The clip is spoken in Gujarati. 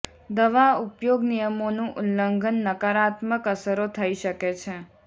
દવા ઉપયોગ નિયમોનું ઉલ્લંઘન નકારાત્મક અસરો થઇ શકે છે